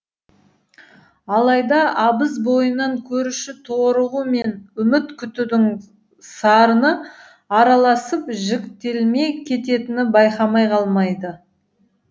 алайда абыз бойынан көруші торығу мен үміт күтудің сарыны араласып жіктелмей кететінін байқамай қалмайды